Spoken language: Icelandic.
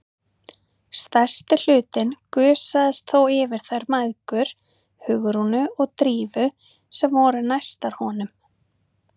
Stærsti hlutinn gusaðist þó yfir þær mæðgur, Hugrúnu og Drífu, sem voru næstar honum.